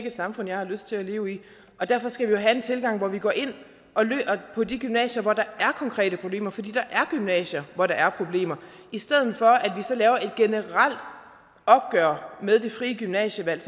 et samfund jeg har lyst til at leve i derfor skal vi jo have en tilgang hvor vi går ind på de gymnasier hvor der er konkrete problemer fordi der er gymnasier hvor der er problemer i stedet for at vi så laver et generelt opgør med det frie gymnasievalg